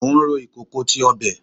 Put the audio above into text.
Mo n ru ikoko ti ọbẹ